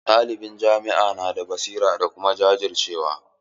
Ɗaliban jami'a na da basira da kuma jajircewa.